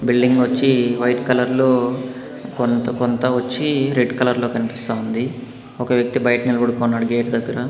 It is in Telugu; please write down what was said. బిల్డింగ్ వచ్చి వైట్ కలర్ లో కొంత-కొంత వచ్చి రెడ్ కలర్ లో కనిపిస్తా ఉంది ఒక వ్యక్తి బయట నిలబడుకొన్నాడు గేట్ దగ్గర.